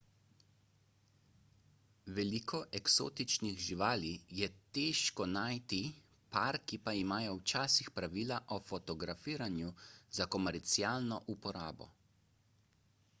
veliko eksotičnih živali je težko najti parki pa imajo včasih pravila o fotografiranju za komercialno uporabo